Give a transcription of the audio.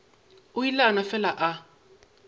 ile a no fele a